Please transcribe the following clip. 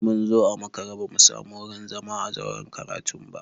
Mun zo a makare ba mu samu wurin zama a zauren karatun ba.